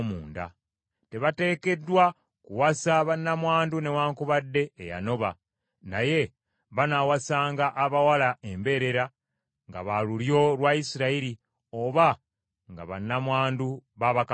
Tebateekeddwa kuwasa bannamwandu newaakubadde eyanoba, naye banaawasanga abawala embeerera nga ba lulyo lwa Isirayiri oba nga bannamwandu ba bakabona.